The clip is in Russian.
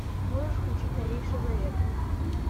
можешь включить новейший завет